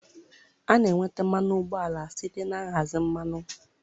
A na-enweta mmanụ ụgbọala site na nhazi mmanụ